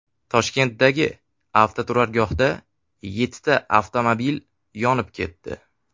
Toshkentdagi avtoturargohda yettita avtomobil yonib ketdi.